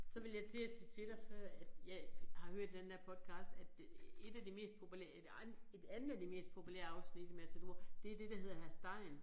Så ville jeg til at sige til dig før at jeg har hørt i den der podcast at det 1 af de mest populære et et andet af de mest populære afsnit i Matador det det der hedder Hr. Stein